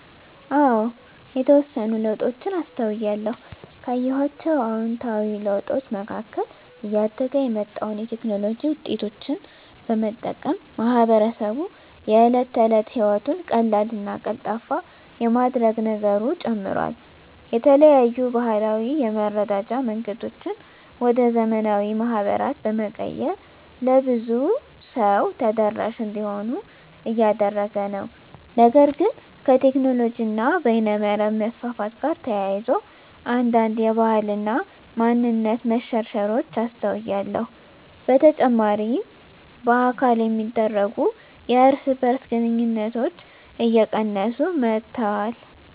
አዎ የተወሰኑ ለውጦችን አስተውያለሁ። ካየኋቸው አዉንታዊ ለውጦች መካከል እያደገ የመጣውን የቴክኖሎጂ ዉጤቶች በመጠቀም ማህበረሰቡ የእለት ተለት ህይወቱን ቀላልና ቀልጣፋ የማድረግ ነገሩ ጨምሯል። የተለያዩ ባህላዊ የመረዳጃ መንገዶችን ወደ ዘመናዊ ማህበራት በመቀየር ለብዙ ሰው ተደራሽ እንዲሆኑ እያደረገ ነው። ነገር ግን ከቴክኖሎጂ እና በይነመረብ መስፋፋት ጋር ተያይዞ አንዳንድ የባህል እና ማንነት መሸርሸሮች አስተውያለሁ። በተጨማሪ በአካል የሚደረጉ የእርስ በእርስ ግንኙነቶች እየቀነሱ መጥተዋል።